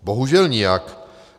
Bohužel nijak.